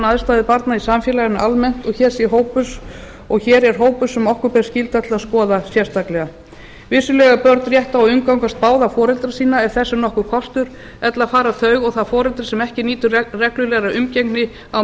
aðstæður barna í samfélaginu almennt og hér er hópur sem okkur ber skylda til skoða sérstaklega vissulega eiga börn rétt á að umgangast báða foreldra sína ef þess er nokkur kostur ella fara þau og það foreldri sem ekki nýtur reglulegrar umgengni á